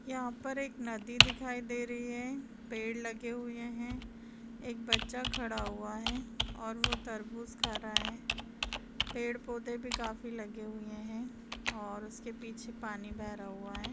यहां पर एक नदी दिखाई दे रही है पेड़ लगे हुए हैं एक बच्चा खड़ा हुआ है और वो तरबूज खा रहा है पेड़-पौधे भी काफी लगे हुए हैं और उसके पिछे पानी बह रहा हुआ है।